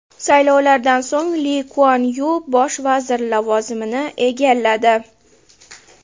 Saylovlardan so‘ng Li Kuan Yu bosh vazir lavozimini egalladi.